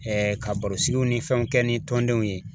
ka baro sigi ni fɛnw kɛ ni tɔndenw ye